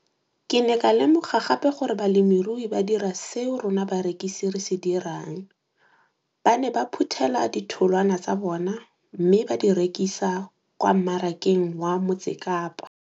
Ke ne ka lemoga gape gore balemirui ba dira seo rona barekisi re se dirang ba ne ba phuthela ditholwana tsa bona mme ba di rekisa kwa marakeng wa Motsekapa.